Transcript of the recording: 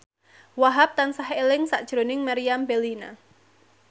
Wahhab tansah eling sakjroning Meriam Bellina